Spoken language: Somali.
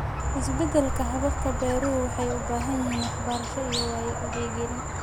Isbeddelka hababka beeruhu waxay u baahan yihiin waxbarasho iyo wacyigelin.